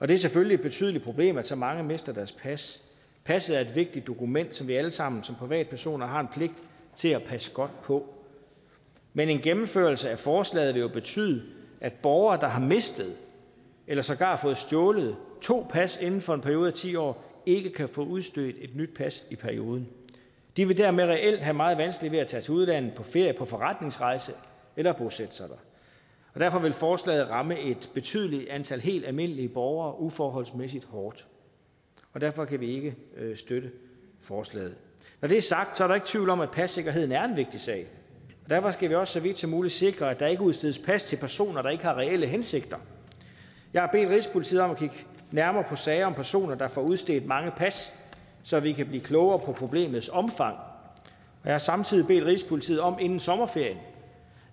det er selvfølgelig et betydeligt problem at så mange mister deres pas passet er et vigtigt dokument som vi alle sammen som privatpersoner har en pligt til at passe godt på men en gennemførelse af forslaget vil jo betyde at borgere der har mistet eller sågar fået stjålet to pas inden for en periode af ti år ikke kan få udstedt et nyt pas i perioden de vil dermed reelt have meget vanskeligt ved at tage til udlandet på ferie på forretningsrejse eller bosætte sig der og derfor vil forslaget ramme et betydeligt antal helt almindelige borgere uforholdsmæssigt hårdt derfor kan vi ikke støtte forslaget når det er sagt er der ikke tvivl om at passikkerheden er en vigtig sag og derfor skal vi også så vidt som muligt sikre at der ikke udstedes plads til personer der ikke har reelle hensigter jeg har bedt rigspolitiet om at kigge nærmere på sager om personer der får udstedt mange pas så vi kan blive klogere på problemets omfang jeg har samtidig bedt rigspolitiet om inden sommerferien